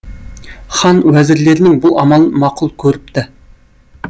хан уәзірлерінің бұл амалын мақұл көріпті